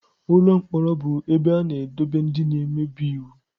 Ụlọ mkpọrọ bụ ebe a na-edobe ndị na-emebi iwu.